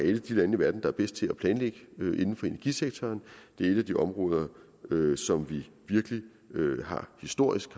et af de lande i verden der er bedst til at planlægge inden for energisektoren det er et af de områder som vi historisk